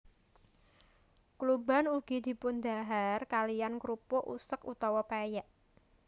Kluban ugi dipundhahar kaliyan krupuk usek utawa pèyèk